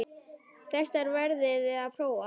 Þessar verðið þið að prófa.